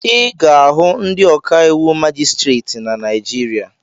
Ị ga-ahụ ndị ọkàiwụ majistreti na Naijiria